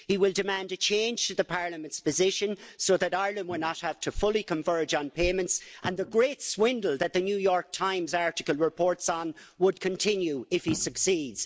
He will demand a change to Parliament's position so that Ireland will not have to fully converge on payments and the great swindle that The New York Times article reports on would continue if he succeeds.